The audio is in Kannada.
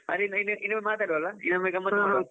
ಹಾಗಾದ್ರೆ ಇನ್~ ಇನ್ನೊಮ್ಮೆ ಮಾತಾಡುವ ಅಲಾ ಇನ್ನೊಮ್ಮೆ .